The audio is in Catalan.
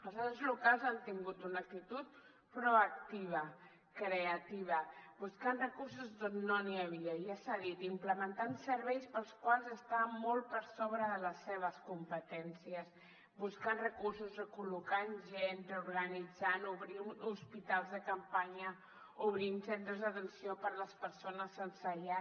els ens locals han tingut una actitud proactiva creativa buscant recursos d’on no n’hi havia ja s’ha dit implementant serveis que estan molt per sobre de les seves competències buscant recursos recol·locant gent reorganitzant obrint hospitals de campanya obrint centres d’atenció per a les persones sense llar